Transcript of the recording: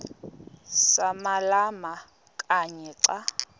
samalama kanye xa